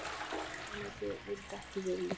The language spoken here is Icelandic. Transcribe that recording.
Forsætisráðuneytið vildi ekki viðmið